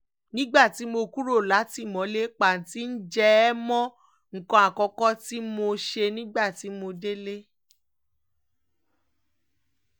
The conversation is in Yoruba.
nígbà tí mo kúrò látìmọ́lé pàǹtí ǹjẹ́ ẹ mọ nǹkan àkọ́kọ́ tí mo ṣe nígbà tí mo délé